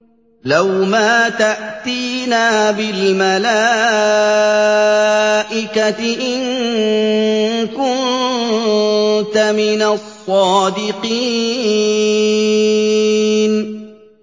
لَّوْ مَا تَأْتِينَا بِالْمَلَائِكَةِ إِن كُنتَ مِنَ الصَّادِقِينَ